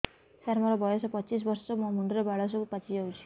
ସାର ମୋର ବୟସ ପଚିଶି ବର୍ଷ ମୋ ମୁଣ୍ଡରେ ବାଳ ସବୁ ପାଚି ଯାଉଛି